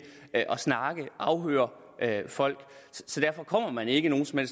at snakke med og afhøre folk så derfor kommer man ikke nogen som